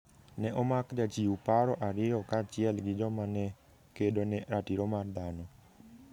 Ne omak jochiw paro ariyo kaachiel gi joma ne kedo ne ratiro mar dhano.